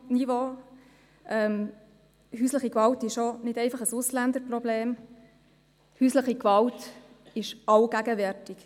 Die häusliche Gewalt ist nicht einfach ein Ausländerproblem, häusliche Gewalt ist allgegenwärtig.